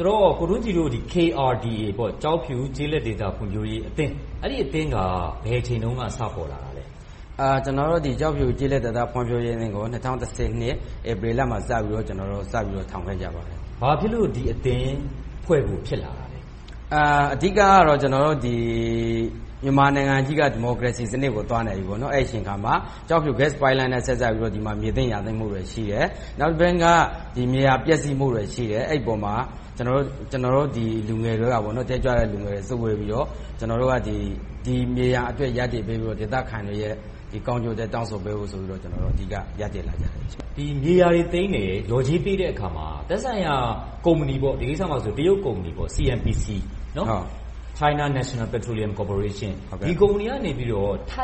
ဆိုတော့ ကိုထွန်းကြည်တို့ KRDA ကျောက်ဖြူဒေသ ကျေးလက်ဒေသ ဖွံ့ဖြိုးရေးအသင်းက ဘယ်အချိန်တုန်းက စပေါ်လာတာလဲ။ ကျေးဇူးတင်ပါတယ်။ ကျနော်တို့ ကျောက်ဖြူဒေသ ကျေးလက်ဒေသ ဖွံ့ဖြိုးရေးအသင်းကို ၂၀၁၂ ဧပြီလမှာ စပြီးတော့ ထောင်ခဲ့ကြပါတယ်။ ဘာဖြစ်လို့ ဒီအသင်းဖွဲ့ဖို့ ဖြစ်လာတာလဲ။ အဓိကတော့ ကျနော်တို့ မြန်မာနိုင်ငံကြီးက ဒီမိုကရေစီစနစ်ကို သွားနေပြီ။ အဲဒီအချိန်အခါမှာ ကျောက်ဖြူ ဂတ်စ်ပိုက်လိုင်းနဲ့ ဆက်စပ်ပြီးတော့ ဒီမှာ မြေသိမ်းယာသိမ်းမှုတွေ ရှိတယ်။ နောက်တပိုင်းက မြေယာပျက်စီးမှုတွေရှိတယ်။ အဲဒီအပေါ်မှာ ကျနော်တို့ လူငယ်တွေက တက်ကြွတဲ့လူငယ်တွေ စုဝေးပြီးတော့ ဒီမြေယာအတွက် ရပ်တည်ပေးပြီးတော့ ဒေသခံတွေရဲ့ ကောင်းကျိုးအတွက် တောင်းဆိုပေးဖို့ဆိုပြီး အဓိက ရပ်တည်လာကြတယ်။ ဒီမြေယာတွေသိမ်းတယ်။ လျော်ကြေးပေးတဲ့အခါမှာ သက်ဆိုင်ရာ ကုမ္ပဏီ - ဒီကိစ္စမှာဆိုရင် တရုတ်ကုမ္ပဏီ CNPC – China National Petrolium Cooperation က ထို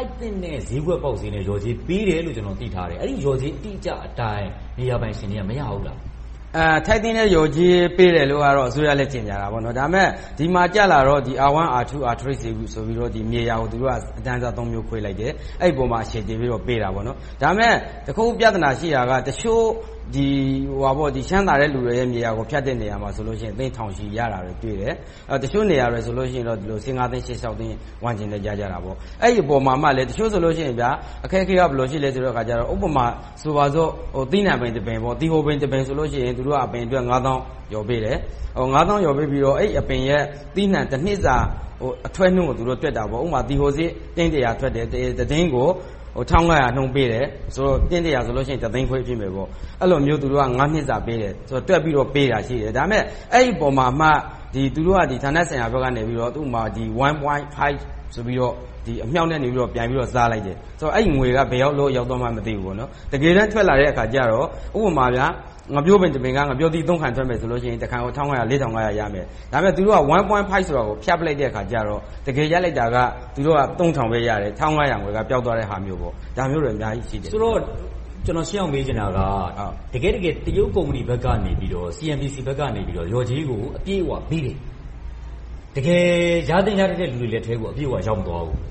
က်သင့်တဲ့ ဈေးကွက်ပေါက်ဈေးနဲ့ လျော်ကြေးပေးတယ်လို့ ကျနော် သိထားတယ်။ အဲဒီလျော်ကြေး အတိအကျအတိုင်း မြေယာပိုင်ရှင်တွေက မရဘူးလား။ ထိုက်သင့်တဲ့ လျော်ကြေးပေးတယ်လို့ အစိုးရကလည်း ကြေညာတယ်။ ဒါပေမဲ့ ဒီမှာကျလာတော့ R1, R2, R3 တွေဆိုပြီး မြေယာကို သူတို့က အတန်းအစား မျိုး ခွဲလိုက်တယ်။ အဲဒီအပေါ် အခြေခံပြီးတော့ ပေးတယ်။ ဒါပေမဲ့ တခု ပြဿနာရှိတာက တချို့ ချမ်းသာတဲ့လူတွေရဲ့ မြေယာကို ဖြတ်တဲ့နေရာမှာဆိုရင် သိန်းထောင်ချီရတာ တွေ့တယ်။ တချို့နေရာတွေဆိုရင်တော့ ဆယ့်ငါးသိန်း၊ ဆယ့်ခြောက်သိန်းဝန်းကျင်တော့ ရကြတာပေါ့။ အဲဒီအပေါ်မှာ တချို့ဆိုရင် အခက်အခဲက ဘယ်လိုရှိသလဲဆိုတော့ ဥပမာ ဆိုပါစို့ သီးနံှပင်တပင် - သီဟိုပင်တပင်ဆိုရင် အပင်အတွက် သောင်း လျော်ပေးတယ်။ သောင်း လျော်ပေးပြီးတော့ အဲဒီအပင်ရဲ့ သီးနံှတနှစ်စာ အထွက်နှုန်းကို တွက်တာပေါ့။ ဥပမာ သီဟိုစေ့ သိန်း ထွက်တယ်။ တစ်တင်းကို ၁၅၀၀ နှုန်း ပေးတယ်ဆိုတော့ တင်း ဆိုရင် တစ်သိန်းခွဲ ဖြစ်မယ်။ အဲဒီလို သူတို့က နှစ်စာ တွက်ပြီးတော့ပေးတယ်။ ဒါပေမဲ့ အဲဒီအပေါ်မှာမှ ဌာနဆိုင်ရာဘက်ကနေ ဥပမာ ၁.၅ ဆိုပြီးတော့ အမြှောက်ကနေ ပြန်ပြီးစားလိုက်တယ်။ အဲဒီငွေတွေက ဘယ်ရောက်လို့ ရောက်သွားမှန်း မသိဘူး။ တကယ်တမ်း ထွက်လာတဲ့အခါကြတော့ ဥပမာ ငှက်ပျောပင်တပင်က ငှက်ပျောသီး ခိုင် ထွက်မယ်ဆိုရင် တစ်ခိုင်ကို ဆိုရင် ရမယ်။ ဒါပေမဲ့ သူတို့က ၁.၅ ကို ဖြတ်ပြစ်လိုက်တော့ တကယ်ရလိုက်တာက သူတို့က ထောင်ပဲရတယ်၊ ၁၅၀၀ က ပျောက်သွားတဲ့ဟာမျိုး - ဒါမျိုးတွေ အများကြီးရှိတယ်။ ဆိုတော့ ကျနော် ရှင်းအောင်မေးချင်တာက တကယ့်တကယ် တရုတ်ကုမ္ပဏီ CNPC ဘက်ကနေ လျော်ကြေးကို အပြည့်အဝပေးတယ်။ တကယ် ရသင့်ရထိုက်တဲ့ လူတွေလက်ထဲကို အပြည့်အဝ ရောက်မသွားဘူး။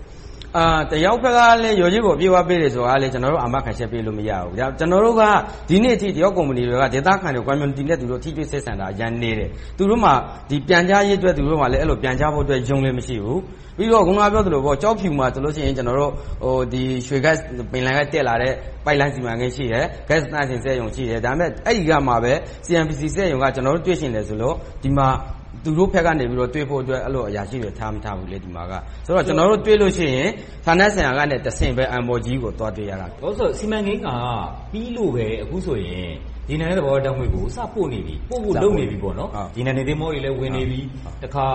တရုတ်ဘက်က လျော်ကြေးကို အပြည့်အဝ ပေးတယ်ဆိုတာကိုလဲ ကျနော်တို့ အာမခံချက် ပေးလို့မရဘူး။ ဒီနေ့အထိ တရုတ်ကုမ္ပဏီတွေက ဒေသခံတွေ Community နဲ့ ထိတွေ့ဆက်ဆံတာ အရမ်းနည်းတယ်။ သူတို့မှာ ပြန်ကြားရေးအတွက် သူတို့မှာ သတင်းပြန်ကြားဖို့ ရုံးလည်းမရှိဘူး။ ပြီးတော့ အခုနပြောသလို ကျောက်ဖြူမှာ ပင်လယ်ထဲက တက်လာတဲ့ ပိုက်လိုင်းစီမံကိန်း၊ ဂတ်စ် သန့်စင်စက်ရုံ ရှိတယ်။ အဲဒီကပဲ CNPC စက်ရုံက ကျနော်တို့ တွေ့ချင်တယ်ဆိုလို့ ဒီမှာ သူတို့ဘက်ကနေ တွေ့ဖို့အတွက် အရာရှိတွေ ထားမထားဘူး။ ဆိုတော့ ကျနော်တို့ တွေ့လို့ရှိရင် ဌာနဆိုင်ရာကနေတဆင့်ပဲ MOG ကို သွားတွေ့ရတာ။ စီမံကိန်းက ပြီးလို့ပဲ အခုဆိုရင် ရေနံ နဲ့ သဘာဝဓါတ်ငွေ့ကို စပို့နေပြီ။ ပို့ဖို့လုပ်နေပြီ။ ရေနံသင်္ဘောတွေလည်း ဝင်နေပြီ။ တခါ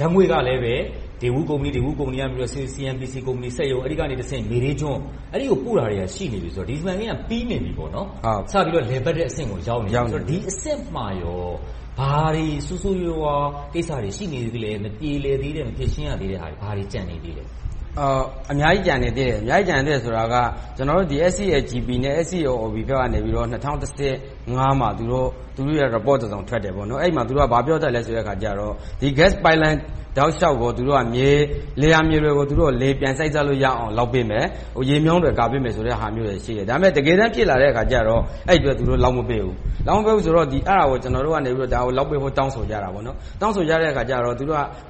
ဓါတ်ငွေ့ကလဲ Daewoo ကုမ္ပဏီကနေ CNPC စက်ရုံကနေ မေဒေးကျွန်း - အဲဒီကို ပို့တာတွေက ရှိနေပြီဆိုတော့ ဒီ စီမံကိန်းက ပြီးနေပြီပေါ့။ စပြီးတော့ လည်ပတ်တဲ့အဆင့်ကို ရောက်နေပြီပေါ့။ ဒီအဆင့်မှာ ဘာတွေဆိုးဆိုးဝါးဝါး ကိစ္စတွေ ရှိနေသေးလဲ။ မပြေလည်သေး၊ မဖြေရှင်းရသေးတာ ဘာတွေကျန်နေသေးလဲ။ အများကြီး ကျန်နေသေးတယ်။ အများကြီး ကျန်နေသေးတယ်ဆိုတာက SCAGP နဲ့ SCOP ဘက်ကနေ ၂၀၁၅ မှာ သူတို့ရဲ့ Report တစောင်ထွက်တယ်။ အဲဒီမှာ သူတို့က ဘာပြောထားလဲဆိုတော့ ဒီ Gas ပိုက်လိုင်းတောက်လျှောက်ရှိ လယ်ယာမြေတွေကို ပြန်စိုက်စားလို့ရအောင် လုပ်ပေးမယ်။ ရေမြောင်းတွေ ကာပေးမယ်ဆိုတာမျိုးတွေ ရှိတယ်။ ဒါပေမဲ့ တကယ်တမ်း ဖြစ်လာတဲ့အခါကြတော့ အဲဒီအတွက် သူတို့ လုပ်မပေးဘူး။ လုပ်မပေးဘူးဆိုတော့ အဲဒါကို ကျနော်တို့က လုပ်ပေးဖို့ တောင်းဆိုကြတယ်။ တောင်းဆိုကြတဲ့အခါကြတော့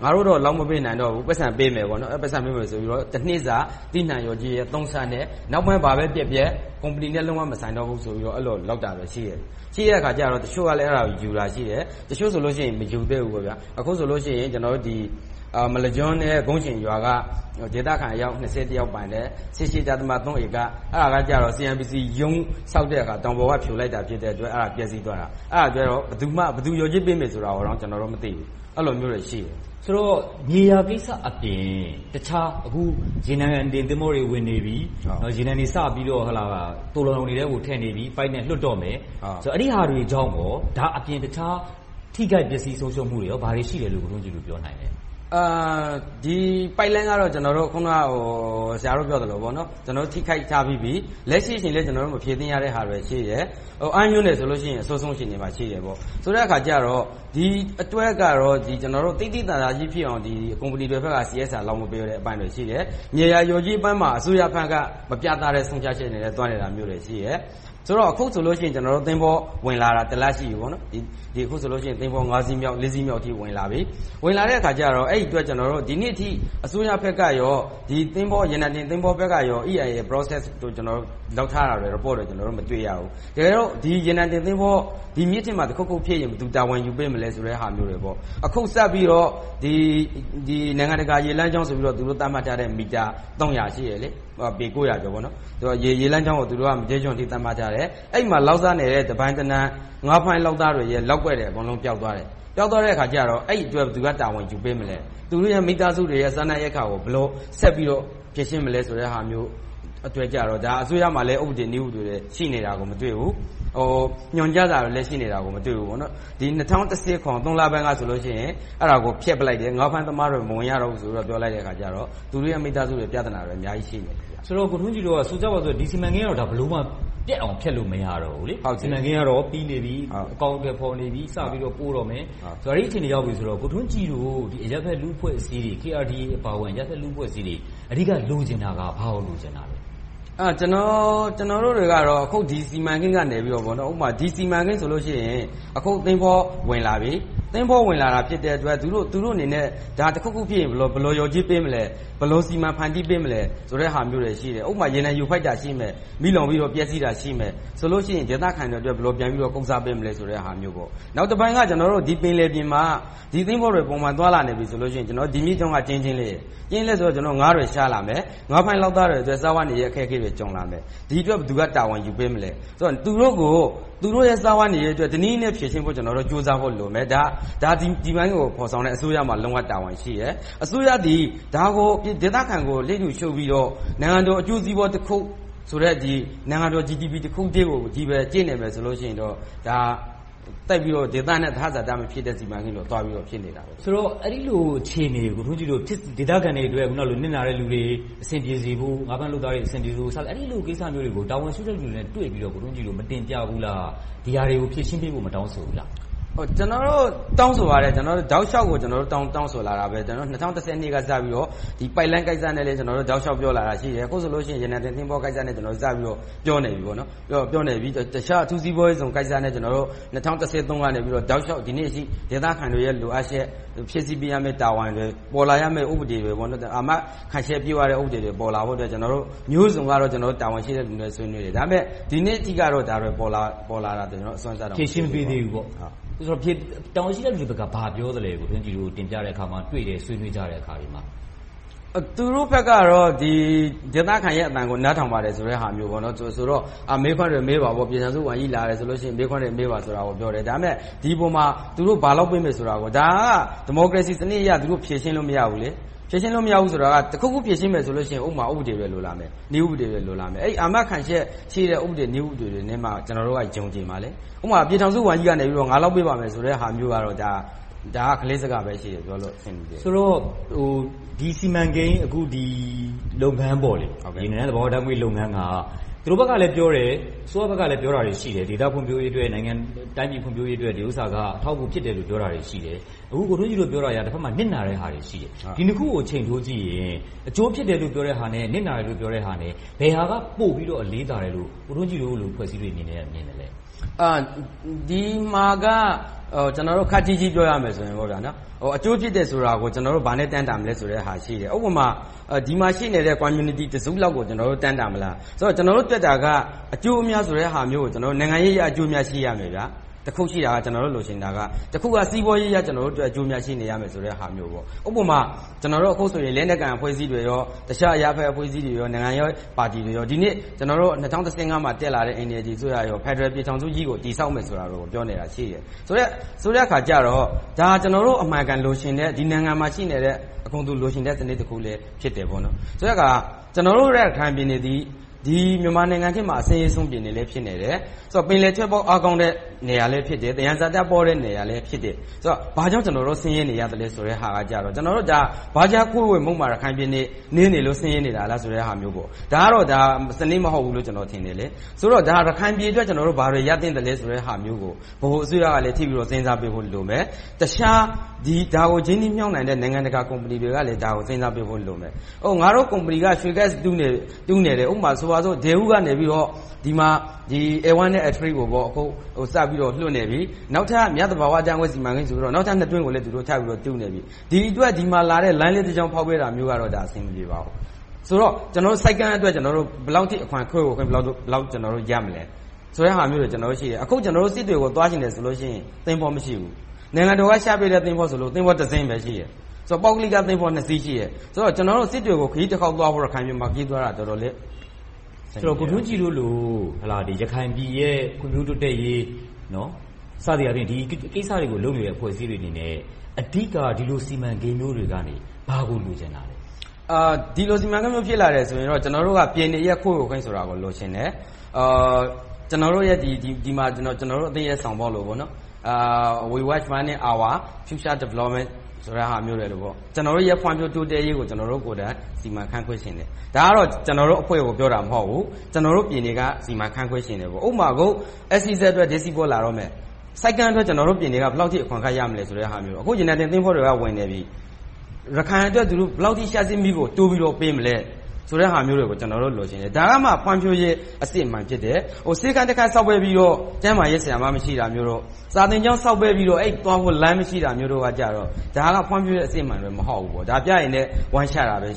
ငါတို့တော့ လုပ်မပေးနိုင်တော့ဘူး။ ပိုက်ဆံပေးမယ်ဆိုပြီးတော့ တနှစ်စာ သီးနံှလျော်ကြေးရဲ့ သုံးဆနဲ့ နောက်ပိုင်းဘာပဲပျက်ပျက် ကုမ္ပဏီနဲ့ လုံးဝမဆိုင်တော့ဘူးဆိုပြီး အဲဒီလို လုပ်တာတွေရှိတယ်။ ရှိတဲ့အခါကြတော့ တချို့က အဲဒါကို ယူတာရှိတယ်။ တချို့ဆိုလို့ရှိရင် မယူသေးဘူး။ အခုဆိုရင် မလက်ကျွန်း နဲ့ ဂုံဆင်ရွာက ဒေသခံ အယောက် ယောက်ပိုင်တဲ့ ဧက အဲဒါက CNPC ရုံး ဆောက်တဲ့အခါ တောင်ပေါ်က ဖြိုလိုက်တာ ဖြစ်တဲ့အတွက် အဲဒါ ပျက်ဆီးသွားတာ။ အဲဒါအတွက်ကို ဘယ်သူ လျော်ကြေးပေးမယ်ဆိုတာတောင် ကျနော်တို့ မသိဘူး။ အဲဒီလိုမျိုးတွေ ရှိတယ်။ ဆိုတော့ မြေယာကိစ္စအပြင် တခြား အခု ရေနံတင် သင်္ဘောတွေ ဝင်နေပြီ။ ရေနံတွေ သိုလှောင်ရုံအတွင်းကို ထည့်နေပြီ။ လွှတ်တော့မယ်။ အဲဒီဟာတွေကြောင့် ဒါ့အပြင် တခြားထိခိုက်ပျက်ဆီးမှုတွေ၊ ဆုံးရှုံးမှုတွေ ဘာတွေရှိတယ်ဆိုတာကို ပြောနိုင်လဲ။ ဒီပိုက်လိုင်းကတော့ အခုန ဆရာတို့ ပြောသလို ထိခိုက်ထားပြီးပြီ။ လက်ရှိအချိန်မှာလဲ ကျနော်တို့ မဖြေသင့်ရတာတွေ ရှိတယ်။ အမ်းမြို့နယ်ဆိုရင် အဆိုးဆုံး အခြေအနေမှာ ရှိတယ်။ ဆိုတဲ့အခါကြတော့ ဒီအတွက်ကတော့ သိသိသာသာကြီး ကုမ္ပဏီဘက်က CSR လုပ်မပေးတာတွေ ရှိတယ်။ မြေယာလျော်ကြေးပိုင်းမှာ အစိုးရဘက်က မပြတ်သားတဲ့ ဆုံးဖြတ်ချက်တွေနဲ့ သွားနေတာတွေရှိတယ်။ ဆိုတော့ အခုဆိုရင် သင်္ဘောတွေ ဝင်လာတာ တစ်လရှိပြီ။ အခုဆိုရင် သင်္ဘော စီးမြောက် ဝင်လာပြီ။ ဝင်လာတဲ့အခါကြတော့ အဲဒီအတွက် ဒီနေ့အထိ အစိုးရဘက်က ဒီရေနံတင်သင်္ဘောဘက်က EIA Process ကို လုပ်ထားတဲ့ Report တွေကို ကျနော်တို့ မတွေ့ရဘူး။ တကယ်တော့ ဒီရေနံတင်သင်္ဘောတွေ မြစ်ထဲမှာ တခုခုဖြစ်ရင် ဘယ်သူ တာဝန်ယူပေးမလဲ ဆိုတာမျိုးတွေ။ အခုစပြီးတော့ နိုင်ငံတကာ ရေလမ်းကြောင်းဆိုပြီးတော့ သူတို့ သတ်မှတ်ထားတဲ့ မီတာ ရှိတယ်။ ပေ ကျော်။ ရေလမ်းကြောင်းကို.. အထိ သတ်မှတ်ထားတယ်။ အဲဒီမှာ လုပ်စားနေတဲ့ တပိုင်တနိုင် ငါးဖမ်းလုပ်သားတွေရဲ့ လုပ်ကွက်တွေ ပျောက်သွားတယ်။ ပျောက်သွားတဲ့အခါကြတော့ အဲဒီအတွက် ဘယ်သူက တာဝန်ယူပေးမလဲ။ သူတို့ရဲ့ မိသားစုတွေရဲ့ စားနပ်ရိက္ခာကို ဘယ်လို ဆက်ပြီးတော့ ဖြေရှင်းမလဲဆိုတာမျိုးအတွက်ကို အစိုးရမှာ ဥပဒေ၊ နည်းဥပဒေတွေ ရှိနေတာကို မတွေ့ဘူး။ ညွှန်ကြားထားတာကိုလည်း လက်ရှိမှာ မတွေ့ဘူး။ ၂၀၁၇ လပိုင်းကဆို အဲဒါကို ဖျက်ပစ်လိုက်တယ်။ ငါးဖမ်းသမားတွေ မဝင်ရတော့ဘူးဆိုပြီး ပြောလိုက်တဲ့အခါကြတော့ သူတို့ရဲ့ မိသားစုတွေ ပြဿနာတွေ အများကြီး ရှိနေတယ်။ ဆိုတော့ ကိုထွန်းကြည်တို့က ဆိုကြပါစို့ ဒီ စီမံကိန်းကိုတော့ ဘယ်လိုမှ ပျက်အောင် ဖျက်လို့မရတော့ဘူးလေ။ စီမံကိန်းကတော့ ပြီးနေပြီ။ အကောင်အထည်ဖော်နေပြီ။ စပြီးတော့ ပို့တော့မယ်။ အဲဒီအခြေအနေ ရောက်နေပြီဆိုတော့ ကိုထွန်းကြည်တို့ အရပ်ဖက်လူ့အဖွဲ့အစည်းတွေ KRDA အပါအဝင် အဖွဲ့အစည်းတွေ အဓိက လိုချင်တာက ဘာကိုလိုချင်တာလဲ။ ကျနော်တို့တွေကတော့ အခု ဒီ စီမံကိန်းကနေ ဒီ စီမံကိန်းဆိုရင် အခု သင်္ဘောဝင်လာပြီ။ သင်္ဘော ဝင်လာပြီဆိုတော့ သူတို့အနေနဲ့ တခုခုဖြစ်ရင် ဘယ်လို လျော်ကြေးပေးမလဲ။ ဘယ်လို စီမံဖန်တီးပေးမလဲဆိုတဲ့ဟာမျိုးတွေ ရှိတယ်။ ဥပမာ ရေနံယိုဖိတ်တာ ရှိမယ်။ မီးလောင်ပြီးတော့ ပျက်ဆီးတာရှိမယ်။ ဆိုလို့ရှိရင် ဒေသခံတွေအတွက် ဘယ်လို ပြန်ပြီးတော့ ကုစားပေးမယ်ဆိုတာမျိုးတွေ။ နောက်တပိုင်းက ဒီပင်လယ်ပြင်မှာ ဒီသင်္ဘောတွေ သွားလာနေပြီဆိုရင် ဒီမြစ်ကြောင်းက ကျဉ်းကျဉ်းလေးဆိုတော့ ငါးတွေ ရှားလာမယ်။ ငါးဖမ်းလုပ်သားတွေအတွက် စားဝတ်နေရေးတွေ ကြုံလာမယ်။ ဒီအတွက်ကို ဘယ်သူက တာဝန်ယူပေးမလဲ။ သူတို့ရဲ့ စားဝတ်နေရေးအတွက် တနည်းနည်းနဲ့ ဖြေရှင်းဖို့ ကြိုးစားဖို့လိုမယ်။ ဒီ စီမံကိန်းကို ဖော်ဆောင်တဲ့ အစိုးရမှာ လုံးဝတာဝန်ရှိတယ်။ အစိုးရသည် ဒေသခံကို လစ်လျူရှုပြီးတော့ နိုင်ငံတော်အကျိုးစီးပွားတခုဆိုတဲ့ နိုင်ငံတော် GDP တခုတည်းကိုပဲ ကြည့်နေမယ်ဆိုရင် ဒါက ဒေသနဲ့ သဟဇာတ မဖြစ်တဲ့ စီမံကိန်းလို ဖြစ်နေမယ်။ ဆိုတော့ အဲဒီလို အခြေအနေကို ကိုထွန်းကြည်တို့က ဒေသခံတွေအတွက် နစ်နာတဲ့လူတွေ အဆင်ပြေစေဖို့၊ ငါးဖမ်းလုပ်သားတွေ အဆင်ပြေစေဖို့ အဲဒီလို ကိစ္စတွေကို တာဝန်ရှိသူတွေနဲ့ တွေ့ပြီးတော့ မတင်ပြဘူးလား။ ဒါတွေကို ဖြေရှင်းပေးဖို့ မတောင်းဆိုဘူးလား။ ကျနော်တို့ တောင်းဆိုပါတယ်။ တောက်လျှောက်ကို တောင်းဆိုလာတယ်။ ၂၀၁၂ က စပြီးတော့ ဒီပိုက်လိုင်းကိစ္စနဲ့ ပတ်သက်ပြီး တောက်လျှောက်ပြောလာတာရှိတယ်။ အခုဆိုရင် ရေနံတင်သင်္ဘောကိစ္စနဲ့ ပြောနေပြီ။ တခြားအထူးစီးပွားရေးဇုန်ကိစ္စနဲ့ ကျနော်တို့ ၂၀၁၃ ကနေ တောက်လျှောက် ဒီနေ့အထိ ဒေသခံတွေ လိုအပ်ချက်၊ ဖြည့်ဆည်းပေးရမယ့် တာဝန်တွေ၊ ပေါ်လာရမယ့် ဥပဒေတွေ၊ အာမခံချက်တွေ ပြည့်ဝတဲ့ ဥပဒေတွေ ပေါ်လာဖို့အတွက် ကျနော်တို့ မျိုးစုံသော တာဝန်ရှိသူတွေနဲ့ ဆွေးနွေးတယ်။ ဒါပေမဲ့ ဒီနေ့အထိ ဖြေရှင်းမပေးသေးဘူး။ တာဝန်ရှိတဲ့သူတွေဘက်က ဘာပြောလဲ။ ကိုထွန်းကြည်တို့ တင်ပြတဲ့အခါ၊ တွေ့တဲ့အခါ၊ ဆွေးနွေးကြတဲ့အခါမှာ။ သူတို့ဘက်ကတော့ ဒေသခံတွေရဲ့ အသံကို နားထောင်ပါတယ်ဆိုတဲ့ဟာမျိုးဆိုတော့ မေးခွန်းတွေ မေးတယ်။ ပြည်ထောင်စုဝန်ကြီးလာတယ်ဆိုရင် မေးခွန်းတွေ မေးပါဆိုတာပြောတယ်။ ဒါပေမဲ့ ဒီအပေါ်မှာ သူတို့ ဘာလုပ်ပေးမယ်ဆိုတာ… ဒါက ဒီမိုကရေစီစနစ်အရ ဖြေရှင်းလို့ မရဘူးလေ။ ဖြေရှင်းလို့ မရဘူးဆိုတာက တခုခု ဖြေရှင်းမယ်ဆိုရင် ဥပဒေ၊ နည်းဥပဒေတွေ လိုလာမယ်။ အဲဒီ အာမခံချက်ရှိတဲ့ ဥပဒေတွေ၊ နည်းဥပဒေတွေနဲ့မှ ကျနော်တို့က ယုံကြည်မှာ။ ဥပမာ ပြည်ထောင်စုဝန်ကြီးက ငါလုပ်ပေးပါမယ်ဆိုတဲ့ဟာမျိုးကတော့ ဒါက ကလေးစကားပဲ ရှိတယ်။ ဆိုတော့ ဒီ စီမံကိန်း ဒီလုပ်ငန်း ရေနံနဲ့ သဘာဝလုပ်ငန်းက အစိုးရဘက်ကလည်းပြောဆိုတာတွေ ရှိတယ်… ဒေသဖွံ့ဖြိုးရေးအတွက်၊ တိုင်းပြည်ဖွံ့ဖြိုးရေးအတွက် ဒီဥစ္စာက အထောက်အကူတွေရှိတယ်။ ကိုထွန်းကြည်တို့ ပြောတာတွေက တဘက်မှာ နစ်နာတဲ့ဟာတွေရှိတယ်။ ဒီနှစ်ခုကို ချိန်ထိုးကြည့်ရင် အကျိုးဖြစ်တယ်ဆိုတဲ့ဟာနဲ့ နစ်နာတယ်ဆိုတဲ့ဟာ ဘယ်ဟာက ပိုပြီးတော့ အလေးသာတယ်လို့ ကိုထွန်းကြည်တို့လို အဖွဲ့အစည်းတွေက မြင်သလဲ။ ဒီမှာက ကျနော်တို့ ခပ်ကြီးကြီး ပြောရမယ်ဆိုရင် အကျိုးဖြစ်တယ်ဆိုတာကို ဘာနဲ့တိုင်းတာမလဲဆိုတာ ရှိတယ်။ ဥပမာ ဒီမှာရှိနေတဲ့ Community တစုလောက်ကို တိုင်းတာမလား။ ကျနော်တို့ တွက်တာက အကျိုးအမြတ်ဆိုတာကို နိုင်ငံရေးအရ အကျိုးအမြတ် ရှိရမယ်။ တခုရှိတာက ကျနော်တို့ လိုချင်တာက တခုက စီးပွားရေးအရ အကျိုးအမြတ် ရှိနေရမယ်ဆိုတဲ့ဟာမျိုး။ ဥပမာ အခုဆိုရင် လက်နက်ကိုင်အဖွဲ့အစည်းတွေ၊ တခြားအရပ်ဖက်အဖွဲ့အစည်းတွေ၊ နိုင်ငံရေးပါတီတွေ ဒီနေ့ ၂၀၁၅ တက်လာတဲ့ NLD အစိုးရကော ဖယ်ဒရယ်ပြည်ထောင်စုကြီးကို တည်ထောင်မယ်ဆိုတာကို ပြောနေတာရှိတယ်။ ဆိုတဲ့အခါကြတော့ ဒါ ကျနော်တို့ အမှန်အကန် လိုချင်တဲ့၊ ဒီနိုင်ငံမှာရှိနေတဲ့ အကုန်လုံး လိုချင်တဲ့ စနစ်တခုလည်း ဖြစ်တယ်။ ဆိုတဲ့အခါ ကျနော်တို့ရဲ့ ရခိုင်ပြည်နယ်သည် မြန်မာနိုင်ငံထဲမှာ အဆင်းရဲဆုံး ပြည်နယ်လည်း ဖြစ်နေတယ်။ ပင်လယ်ထွက်ပေါက် အားကောင်းတဲ့ နေရာလည်းဖြစ်တယ်။ သယံဇာတပေါတဲ့ နေရာလည်းဖြစ်တယ်။ ဆိုတော့ ဘာကြောင့် ကျနော်တို့ ဆင်းရဲနေရသလဲဆိုတာကတော့ ဒါ ဘတ်ဂျက်ခွဲဝေမှုမှာ ရခိုင်ပြည်နယ် နည်းနေလို့ ဆင်းရဲနေတာလားဆိုတာမျိုး။ ဒါကတော့ စနစ်မဟုတ်ဘူးလို့ ထင်တယ်။ ဆိုတော့ ရခိုင်ပြည်နယ်အတွက် ကျနော်တို့ ဘာတွေရသင့်သလဲဆိုတဲ့ဟာမျိုးကို ဗဟိုအစိုးရကလည်း ကြည့်ပြီးတော့ စဉ်းစားပေးဖို့ လိုမယ်။ တခြား ဒါကို ရင်းနှီးမြှုပ်နံှတဲ့ နိုင်ငံတကာ ကုမ္ပဏီတွေကလည်း ဒါကို စဉ်းစားပေးဖို့လိုမယ်။ ငါတို့ ကုမ္ပဏီက ရွှေဂတ်စ် တူးနေတယ်။ ဥပမာ Daewoo က ဒီမှာ A1 နဲ့ A3 ကို စပြီးတော့ လွှတ်နေပြီ။ နောက်ထပ် မြသဘာဝဓါတ်ငွေ့ စီမံကိန်းဆိုပြီး နောက်ထပ် တွင်းကို တူးနေပြီ။ ဒီအတွက် ဒီမှာလာတဲ့ လမ်းလေးတကြောင်း ဖောက်ပေးတာမျိုးကတော့ အဆင်မပြေပါဘူး။ ဆိုတော့ ဆိပ်ကမ်းအတွက် ဘယ်လောက် အခွန်ခွဲဝေခွင့် ရမလဲဆိုတဲ့ဟာမျိုးတွေ ကျနော်တို့ရှိတယ်။ အခု စစ်တွေကို သွားချင်တယ်ဆိုရင် သင်္ဘောမရှိဘူး။ နိုင်ငံတော်က ချပေးတဲ့ သင်္ဘောဆိုလို့ သင်္ဘောတစင်းပဲ ရှိတယ်။ ပုဂ္ဂလိသင်္ဘော နှစ်စီး ရှိတယ်။ ဆိုတော့ ကျနော်တို့ စစ်တွေကို ခရီးတခေါက်သွားဖို့ ရခိုင်ပြည်နယ်မှာ တော်တော်လေး ခက်ခဲတယ်။ ဆိုတော့ ကိုထွန်းကြည်တို့လို ရခိုင်ပြည်ရဲ့ ဖွံ့ဖြိုးတိုးတက်ရေး စသည်အားဖြင့် ဒီကိစ္စတွေကို လုပ်နေတဲ့ အဖွဲ့အစည်းတွေအနေနဲ့ အဓိက ဒီလို စီမံကိန်းတွေမျိုးကနေ ဘာကို လိုချင်တာလဲ။ ဒီလို စီမံကိန်းမျိုး ဖြစ်လာတယ်ဆိုရင် ကျနော်တို့က ပြည်နယ်ရဲ့ ခွဲဝေခွင့်ကို လိုချင်တယ်။ ကျနော်အသင်းရဲ့ ဆောင်ပုဒ်လို We will manage our future development ဆိုတဲ့ဟာမျိုးလို ကျနော်တို့ရဲ့ ဖွံ့ဖြိုးတိုးတက်ရေးကို ကျနော်တို့ကိုယ်တိုင် စီမံခန့်ခွဲချင်တယ်။ ဒါကတော့ ကျနော်တို့အဖွဲ့ကို ပြောတာမဟုတ်ဘူး။ ကျနော်တို့ပြည်နယ်က စီမံခန့်ခွဲချင်တယ်။ ဥပမာ… ဆိပ်ကမ်းအတွက် ကျနော်တို့ပြည်နယ်က ဘယ်လောက် အခွန်အခရမယ်ဆိုတာမျိုး။ အခု ရေနံတင်သင်္ဘောတွေက ဝင်နေပြီ။ ရခိုင်အတွက် ဘယ်လောက်အထိ လျှပ်စစ်မီးကို တိုးပြီးတော့ ပေးမလဲဆိုတဲ့ဟာမျိုးတွေကို ကျနော်တို့ လိုချင်တယ်။ ဒါမှ ဖွံ့ဖြိုးရေး အစစ်အမှန် ဖြစ်တယ်။ ဆေးခန်းတခန်း ဆောက်ပေးပြီးတော့ ကျန်းမာရေးဆရာမ မရှိတာမျိုးတော့၊ စာသင်ကျောင်း ဆောက်ပေးပြီးတော့ အဲဒီကိုသွားဖို့ လမ်းမရှိတာမျိုးတော့ ဒါက ဖွံ့ဖြိုးရေး အစစ်အမှန်တွေ မဟုတ်ဘူး။ ဒါ ပျားရည်နဲ့ ဝမ်းချတာပဲ ဖြ